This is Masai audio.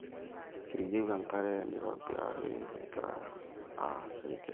keyieu enkare neitobirari egirai aas irrigation